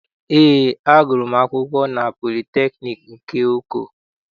Eé, agụrụ m akwụkwọ na politekniik nke Oko.